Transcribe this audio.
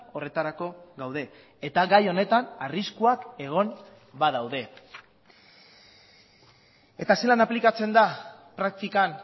horretarako gaude eta gai honetan arriskuak egon badaude eta zelan aplikatzen da praktikan